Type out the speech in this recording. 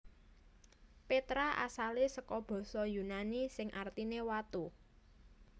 Petra asale saka basa yunani sing artine watu